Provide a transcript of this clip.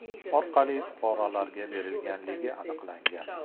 orqali fuqarolarga berganligi aniqlangan.